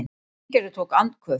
Steingerður tók andköf.